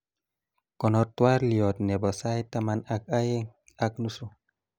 konor twaliot nebo sait taman ak aeng ak nusu